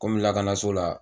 Komi lakanaso la